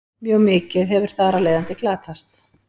Mjög mikið hefur þar af leiðandi glatast.